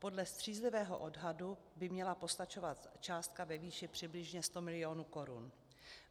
Podle střízlivého odhadu by měla postačovat částka ve výši přibližně 100 mil. korun.